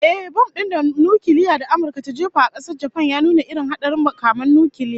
Ehh, bom din nukiliya da Amurka ta jefa wa kasar Japan ya nuna irin hadarin makaman nukiliya